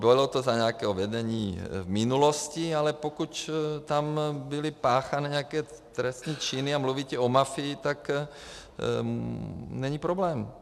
Bylo to za nějakého vedení v minulosti, ale pokud tam byly páchány nějaké trestné činy a mluvíte o mafii, tak není problém.